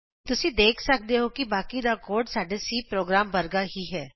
ਤੁਸੀਂ ਦੇਖ ਸਕਦੇ ਹੋ ਕਿ ਬਾਕੀ ਦਾ ਕੋਡ ਸਾਡੇ C ਪ੍ਰੋਗਰਾਮ ਵਰਗਾ ਹੀ ਹੈ